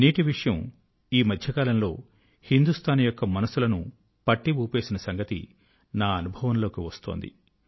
నీటి విషయం ఈ మధ్య కాలం లో హిందుస్తాన్ మనసుల ను పట్టి ఊపేసిన సంగతి నా అనుభవం లోకి వస్తూంది